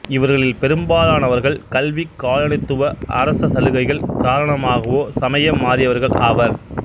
இவர்களில் பெரும்பாலானவர்கள் கல்வி காலனித்துவ அரச சலுகைகள் காரணமாகவோ சமயம் மாறியவர்கள் ஆவர்